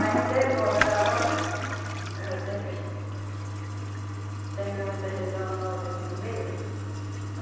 Ainda é boa, mas a volta, ela sempre... Sempre, sempre muito arredo nossa aqui no meio, né?